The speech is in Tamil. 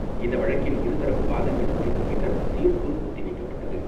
இந்த வழக்கின் இருதரப்பு வாதங்கள் முடிந்த பின்னர் தீர்ப்பு ஒத்தி வைக்கப்பட்டது.